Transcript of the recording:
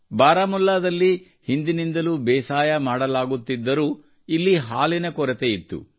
ಬಾರಾಮುಲ್ಲಾದಲ್ಲಿ ಹಿಂದಿನಿಂದಲೂ ಬೇಸಾಯ ಮಾಡಲಾಗುತ್ತಿದ್ದರೂ ಇಲ್ಲಿ ಹಾಲಿನ ಕೊರತೆಯಿತ್ತು